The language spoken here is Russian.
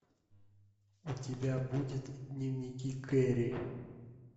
у тебя будет дневники кэрри